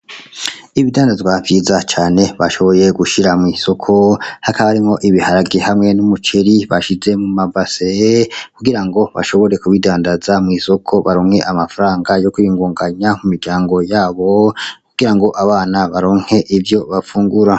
Ibidandazwa vyiza cane bashoboye gushira mwisoko hakaba harimwo ibiharage hamwe n'umuceri bashize mu mabase kugirango bashobore kubidandaza mwisoko baronke amafaranga yo kwiyungunganya mu miryango yabo kugirango abana baronke ivyo bafungura.